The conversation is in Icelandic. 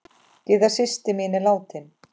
Gyða systir mín er látin.